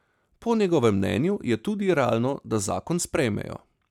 Po njegovem mnenju je tudi realno, da zakon sprejmejo.